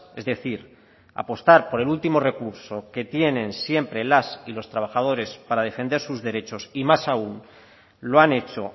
es decir apostar por el último recurso que tienen siempre las y los trabajadores para defender sus derechos y más aún lo han hecho